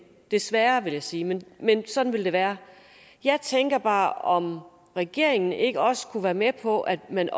desværre vil jeg sige men men sådan vil det være jeg tænker bare om regeringen ikke også kunne være med på at man